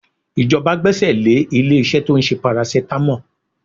Ìjọba gbẹ́aẹ̀ lé ilé-iṣẹ́ tó ń ṣe paracetamol